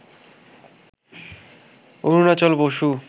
Arunachal Basu,